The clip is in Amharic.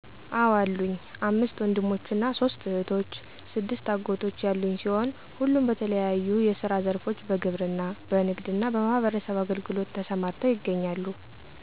አዎ አሉኝ፣ አምስት ወንድሞችና ሦስት እህቶች፣ ስድስት አጎቶች ያሉኝ ሲሆን ሁሉም በተለያዩ የስራ ዘርፎች በግብርና፣ በንግድና በማህበረሰብ አገልግሎት ተሰማርተው ይገኛሉ።